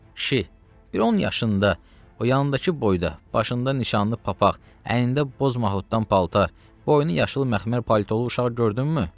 Kişi, bir 10 yaşında, o yanındakı boyda, başında nişanlı papaq, əynində boz mahuddan paltar, boynu yaşıl məxmər politolu uşağı gördünmü?